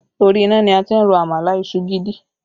Orí iná ni a ti ń ro àmàlà ìṣù gidi